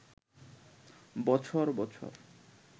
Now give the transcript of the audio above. বছর বছর